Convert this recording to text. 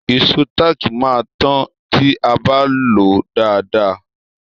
Ìṣó táàkì máa tó ti a bá lòó dáadáa.